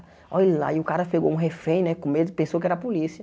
Olhe lá, aí o cara pegou um refém, né, com medo, pensou que era a polícia.